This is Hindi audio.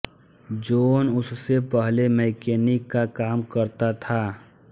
जोन उससे पहले मैकेनिक का काम करता था